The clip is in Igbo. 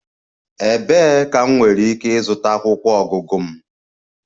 Ebee ka m nwere ike ịzụta akwụkwọ ọgụgụ m?